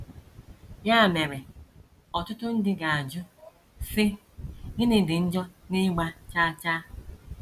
Ya mere, ọtụtụ ndị ga - ajụ, sị, ‘ Gịnị dị njọ n’ịgba chaa chaa? ’